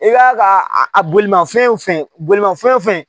I k'a ka a bolimafɛn fɛn bolimafɛn fɛn